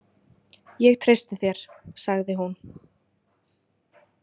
Ég treysti þér, sagði hún.